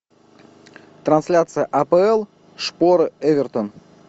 трансляция апл шпоры эвертон